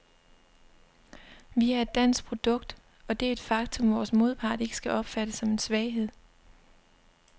Vi er et dansk produkt, og det er et faktum, vores modpart ikke skal opfatte som en svaghed.